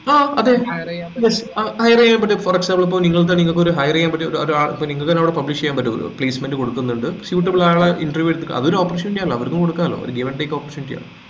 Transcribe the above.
ആഹ് അതെ yes hire ചെയ്യാൻ പറ്റും for example ഇപ്പൊ നിങ്ങൾക് നിങ്ങൾക് ഒരു hire ചെയ്യാൻ പറ്റിയ ഒരു ആ ഇപ്പൊ നിങ്ങക്ക് തന്നെ അവിടെ publish ചെയ്യാൻ പറ്റും placement കൊടുക്കുന്നുണ്ട് suitable ആളെ interview എടുത്ത് അതൊരു option യാലോ അവരിക്കും കൊടുക്കലോ give and take option ചെയ്യലോ